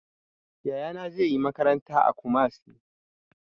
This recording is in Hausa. Yaya na zai yi makaranta a Kumasi